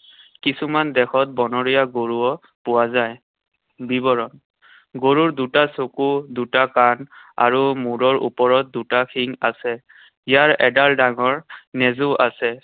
কিছুমান দেশত বনৰীয়া গৰুও পোৱা যায়। বিৱৰণ। গৰুৰ দুটা চকু, দুটা কাণ আৰু মূৰৰ ওপৰত দুটা শিং আছে। ইয়াৰ এডাল ডাঙৰ নেজো আছে।